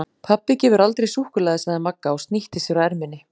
Pabbi gefur aldrei súkkulaði sagði Magga og snýtti sér á erminni.